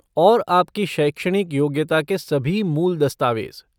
और आपकी शैक्षणिक योग्यता के सभी मूल दस्तावेज।